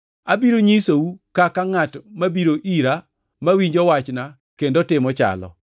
Abiro nyisou kaka ngʼat mabiro ira, mawinjo wachna kendo timo chalo.